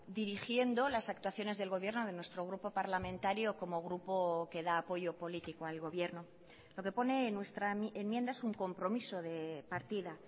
dirigiendo las actuaciones del gobierno de nuestro grupo parlamentario como grupo que da apoyo político al gobierno lo que pone en nuestra enmienda es un compromiso de partida